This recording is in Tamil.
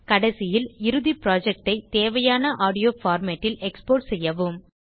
கடைசியில் இறுதி projectஐ தேவையான ஆடியோ formatல் எக்ஸ்போர்ட் செய்யவும்